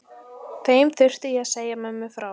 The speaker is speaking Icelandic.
Þeim þurfti ég að segja mömmu frá.